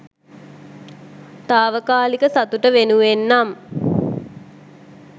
තාවකාලික සතුට වෙනුවෙන් නම්